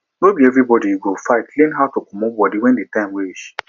no be everybody you go fight learn how to comot body when di time reach